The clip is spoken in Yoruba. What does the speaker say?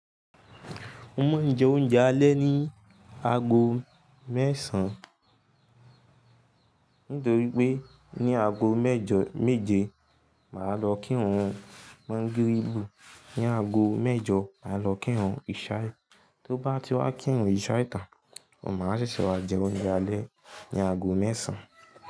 Mo máa ń jẹ oúnjẹ alẹ́ ni aago mẹ́sàn-án nítorí pé ní aago mẹ́jọ méje màá lọ kírun mọ́ńgòrìlú, ní aago mẹ́jọ màá lọ kírun ìṣái, tó bá ti wá kírun ìṣái tan, mo máa wa ṣeṣẹ́ jẹ oúnjẹ alẹ́ ní aago mẹ́sàn-án.